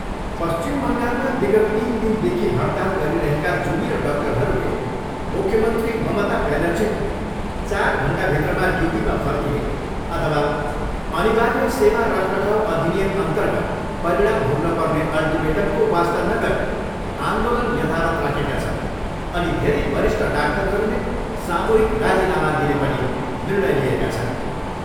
पश्चिम बङ्गालमा विगत तिन दिनदेखि हडताल गरिरहेका जुनियर डाक्टरहरूले मुख्यमन्त्री ममता ब्यानर्जीको चार घन्टाभित्रमा ड्युटीमा फर्किने अथवा अनिर्वाय सेवा रखरखाउ अधिनियम अर्न्तगत परिणाम भोग्न पर्ने अल्टिमेटमको वास्ता नगरी आन्दोलन यथावत् राखेका छन् अनि धेरै वरिष्ठ डाक्टरहरूले सामूहिक राजिनामा दिने पनि निर्णय लिएका छन्।